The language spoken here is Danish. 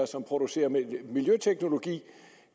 som producerer miljøteknologi